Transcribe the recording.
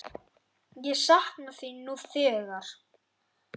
Ég sakna þín nú þegar.